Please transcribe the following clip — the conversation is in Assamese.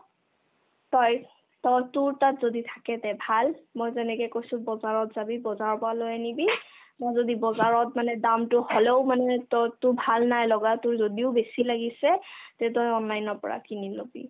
তই তই তোৰ তাত যদি থাকে তে ভাল মই যেনেকে কৈছো বজাৰত যাবি বজাৰৰ পৰা লৈ আনিবি মই যদি বজাৰত মানে দামতো হ'লেও মানে তই তোৰ ভাল নাই লগা তোৰ যদিও বেছি লাগিছে তে তই online ৰ পৰা কিনি ল'বি